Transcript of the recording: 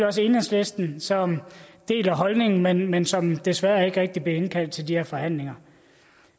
også enhedslisten som deler holdningen men men som desværre ikke rigtig blev indkaldt til de her forhandlinger